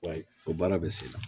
Wa o baara bɛ se la